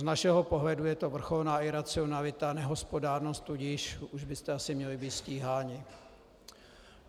Z našeho pohledu je to vrcholná iracionalita, nehospodárnost, tudíž už byste asi měli být stíháni.